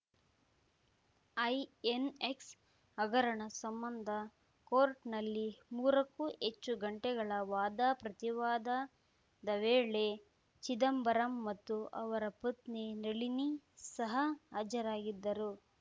INX ಹಗರಣ ಸಂಬಂಧ ಕೋರ್ಟ್‌ನಲ್ಲಿ ಮೂರಕ್ಕೂ ಹೆಚ್ಚು ಗಂಟೆಗಳ ವಾದಪ್ರತಿ ವಾದದ ವೇಳೆ ಚಿದಂಬರಂ ಮತ್ತು ಅವರ ಪತ್ನಿ ನಳಿನಿ ಸಹ ಹಾಜರಾಗಿದ್ದರು